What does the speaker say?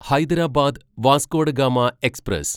Hyderabad Vasco da Gama express